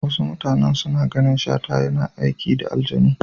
Wasu mutanan suna ganin Shata yana aiki da aljanu.